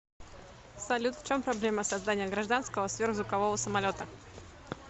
салют в чем проблема создания гражданского сверхзвукового самолета